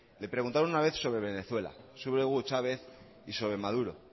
le preguntaron una vez sobre venezuela sobre hugo chávez y sobre maduro